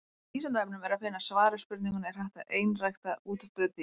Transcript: Á Vísindavefnum er að finna svar við spurningunni Er hægt að einrækta útdauð dýr?